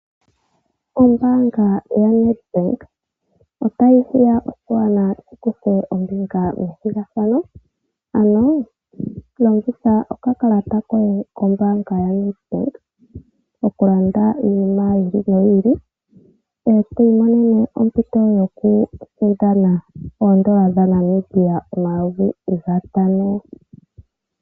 Ombaanga yaNedbank otayi hiya oshigwana shi kuthe ombinga methigathano. Longitha okakalata koye kmbaanga yaNedbank okulanda iinima yi ili noyi ili e to imonene ompito yo ku sindana oodola dhaNamibia omayovi gatano.